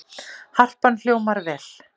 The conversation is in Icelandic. Harpan hljómar vel